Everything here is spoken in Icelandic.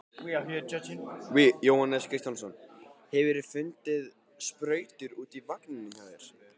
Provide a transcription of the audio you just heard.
Jóhannes Kristjánsson: Hefurðu fundið sprautur áður í vagninum hjá þér?